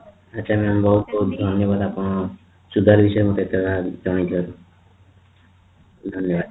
ଆଛା mam ବହୁତ ବହୁତ ଧନ୍ୟବାଦ ଆପଣଙ୍କୁ ସୁଧ ବିଷୟରେ ଜଣେଇଥିବାରୁ ଧନ୍ୟବାଦ